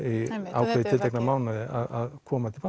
ákveðið tiltekna mánuði að koma til